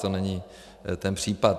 To není ten případ.